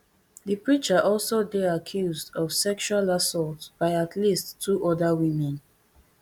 di preacher also dey accused of sexual assault by at least two oda women